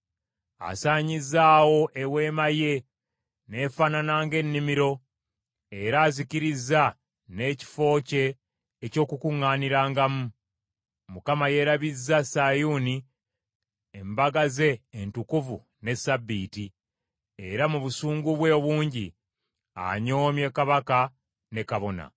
Asaanyizzaawo eweema ye n’efaanana ng’ennimiro, era azikirizza n’ekifo kye eky’Okukuŋŋaanirangamu. Mukama yeerabizza Sayuuni embaga ze entukuvu ne ssabbiiti, era mu busungu bwe obungi anyoomye kabaka ne kabona.